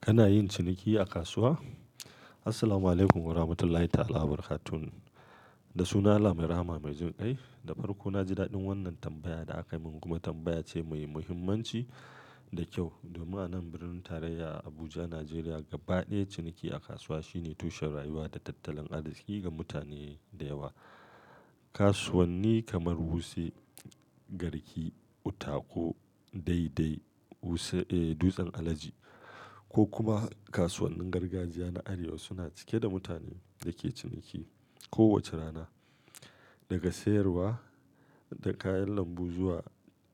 Kana yin ciniki a kasuwa? Assalamualaikum warahmatullahi taala wabarakatuh. Da sunan allah Mai Rahama Mai Jin kai. Da farko, na ji daɗin wannan tambayar da aka min kuma tambaya ce mai muhimmanci da kyau. Domin a nan birnin tarayya Abuja, Najeriya, gaba ɗaya ciniki a kasuwa shine tushen rayuwa da tattalin arziki ga mutane da yawa. Kasuwanni kamar Wuse, Garki, Utako, Dei Dei, Wuse, eh, Dutsen Alaji ko kuma kasuwannin gargajiya na arewa suna cike da mutane da ke ciniki kowace rana. Daga sayarwa da kayan lambu zuwa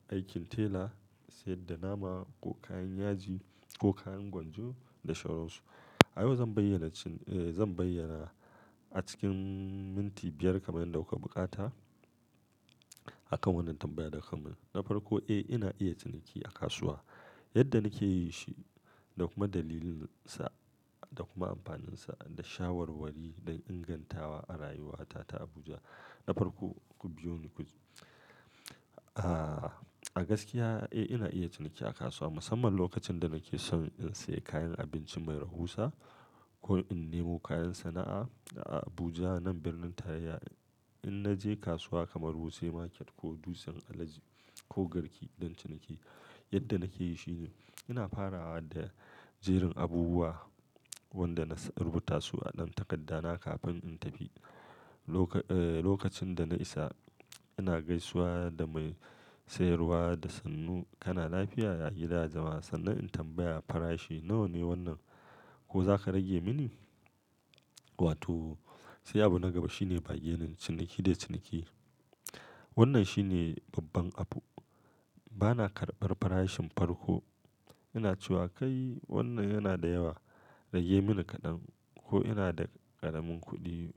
aikin tela, sayar da nama ko kayan yaji ko kayan gwanjo da sauran su. A yau zan bayyana a cikin minti biyar kamar yadda kuka bukata a kan wannan tambayar da aka min. Na farko, eh, ina iya ciniki a kasuwa. Yadda nake yi shi da kuma dalilin sa da kuma amfaninsa da shawarwari da ingantawa a rayuwata ta Abuja. Na farko, ku biyo ni ku a gaskiya, eh, ina iya ciniki a kasuwa musamman lokacin da nake son in sayi kayan abinci mai rahusa ko in nemo kayan sana'a. A Abuja, nan birnin tarayya, in na je kasuwa kamar Wuse Market ko Dutsen Alaji ko Garki don ciniki, yadda nake yi shi ne ina farawa da jerin abubuwa wanda na rubuta su a ɗan takardana kafin in tafi. Lokacin da na isa, ina gaisuwa da mai sayarwa da sannu, "Kana lafiya?" Ya gida ya jama'a sannan in tambaya farashi, "Nawa ne wannan? Ko za ka rage mani?" Wato, sai abu na gaba shine bargaining ciniki da ciniki. Wannan shine babban abu. Bana karbar farashin farko. Ina cewa, "Kai, wannan yana da yawa. Rage mini kaɗan" ko "ina da ƙaramin kuɗi,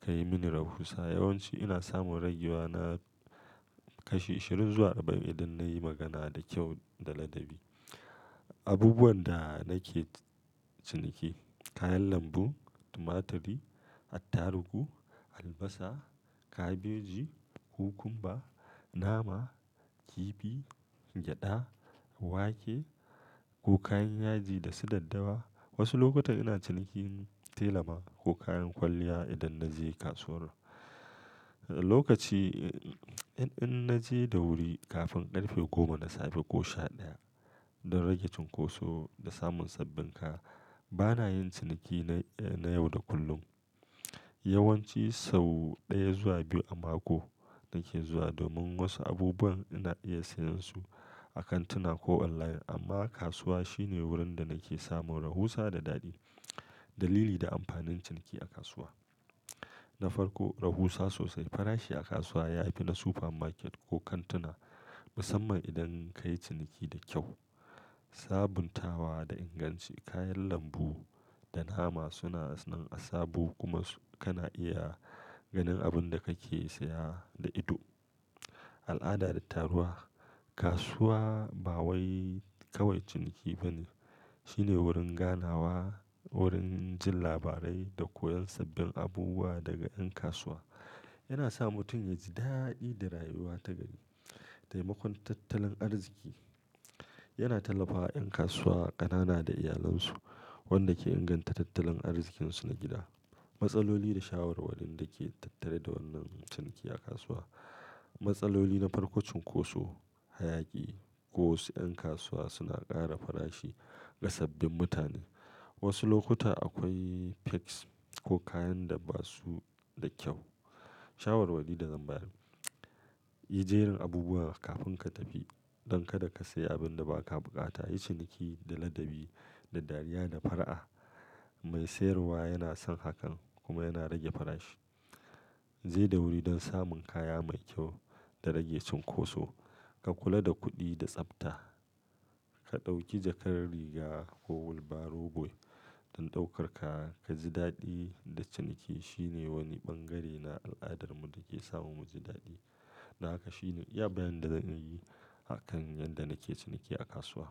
kayi mini rahusa." Yawan ci ina samun ragewa na kashi ashirin zuwa arba'in idan na yi magana da kyau da ladabi. Abubuwan da nake ciniki, kayan lambu, tumaturi, attarugu, albasa, kabeji, cucumber, nama, kifi, gyada, wake ko kayan yaji da su daddawa. Wasu lokuta ina cinikin tela ma ko kayan kwalliya idan na je kasuwar. Lokaci, in naje da wuri kafin ƙarfe goma na safe ko sha ɗaya don rage cunkoso da samun sabbin kaya. Bana yin ciniki na yau da kullum. Yawanci sau ɗaya zuwa biyu a mako nake zuwa domin wasu abubuwan ina iya sayen su a kantuna ko online amma kasuwa shine wurin da nake samun rahusa da daɗi. Dalili da amfanin ciniki a kasuwa. Na farko, rahusa sosai. Farashi a kasuwa ya fi na supermarket ko kantuna musamman idan ka yi ciniki da kyau. Sabuntawa da inganci. Kayan lambu da nama suna nan a sabo kuma kana iya ganin abin da kake saya da ido. Al'ada da taruwa. Kasuwa ba wai kawai ciniki bane. Shine wurin ganawa, wurin jin labarai da koyan sabbin abubuwa daga ƴan kasuwa. Yana sa mutum ya ji daɗi da rayuwa ta gari. Taimakon tattalin arziki. Yana tallafawa ƴan kasuwa ƙanana da iyalansu wanda ke inganta tattalin arzikinsu na gida. Matsaloli da shawarwari da ke tattare da wannan ciniki a kasuwa. Matsaloli na farko cunkoso, hayaƙi ko wasu ƴan kasuwa suna ƙara farashi ga sabbin mutane. Wasu lokuta akwai fakes ko kayan da ba su da kyau. Shawarwari da zan bayar. Yi jerin abubuwa kafin ka tafi don kada ka sayi abin da ba ka bukata. Yi ciniki da ladabi, da dariya da fara'a. Mai sayarwa yana son hakan kuma yana rage farashi. Je da wuri don samun kaya mai kyau da rage cunkoso. Ka kula da kuɗi da tsafta. Ka ɗauki jakar riga ko wheelbarrow boy don ɗaukar kaya. Ka ji daɗi da ciniki. Shine wani bangare na al'adarmu da ke sa mu muji daɗi. Don haka shine iya bayani da zan iya yi a kan yadda nake ciniki a kasuwa.